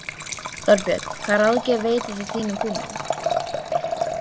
Þorbjörn: Hvaða ráðgjöf veitir þú þínum kúnnum?